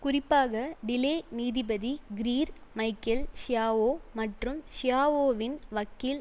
குறிப்பாக டிலே நீதிபதி Greer Michael Schiavo மற்றும் ஷியாவோவின் வக்கீல்